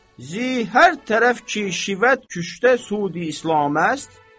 Zihər tərəf ki şübhət küştə sud-i islaməs.